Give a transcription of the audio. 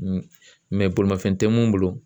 bolimanfɛn tɛ mun bolo